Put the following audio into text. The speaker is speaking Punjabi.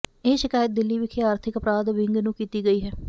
ਇਹ ਸ਼ਕਾਇਤ ਦਿੱਲੀ ਵਿਖੇ ਆਰਥਿਕ ਅਪਰਾਧ ਵਿੰਗ ਨੂੰ ਕੀਤੀ ਗਈ ਹੈ